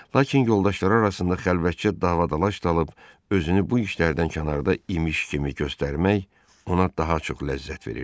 Lakin yoldaşları arasında xəlvətcə dava-dalaş salıb özünü bu işlərdən kənarda imiş kimi göstərmək ona daha çox ləzzət verirdi.